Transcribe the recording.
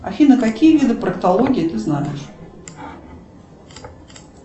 афина какие виды проктологии ты знаешь